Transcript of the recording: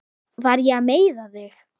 Var ég að meiða þig?